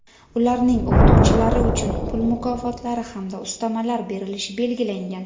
ularning oʼqituvchilari uchun pul mukofotlari (hamda ustamalar) berilishi belgilangan.